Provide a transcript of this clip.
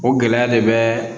O gɛlɛya de bɛ